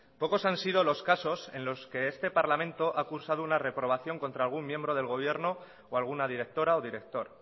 pocos han sido los casos en los que este parlamento ha cursado una reprobación contra algún miembro del gobierno o alguna directora o director